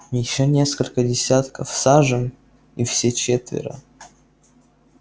ещё несколько десятков сажен и все четверо